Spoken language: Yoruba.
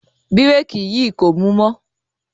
Bírèkì yìí kò mú mọ́.